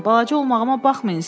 Balaca olmağıma baxmayın,